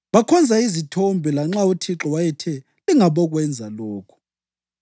Bakhonza izithombe, lanxa uThixo wayethe, “Lingabokwenza lokhu.”